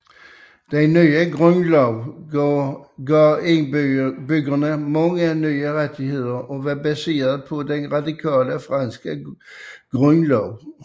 Den nye grundlov gav indbyggerne mange nye rettigheder og var baseret på den radikale franske grundlov